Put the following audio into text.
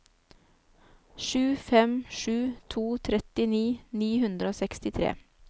sju fem sju to trettini ni hundre og sekstitre